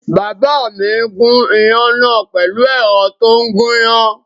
Bàbá mi gún iyán náà pẹ̀lú ẹ̀rọ tó ń gúyán